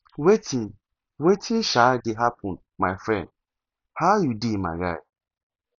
wetin wetin um dey happen my friend how you dey my guy